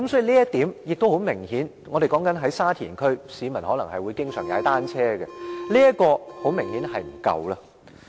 再者，我們所說的是沙田區，市民會經常到那裏踏單車，所以這方面明顯是不足夠。